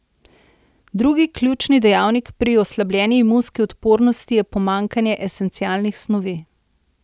Drugi ključni dejavnik pri oslabljeni imunski odpornosti je pomanjkanje esencialnih snovi.